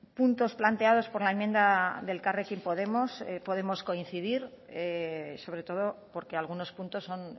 puntos planteados por la enmienda de elkarrekin podemos podemos coincidir sobre todo porque algunos puntos son